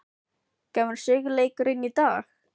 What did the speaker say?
Kemur sigurleikurinn í dag?